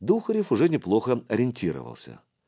духарев уже неплохо ориентировался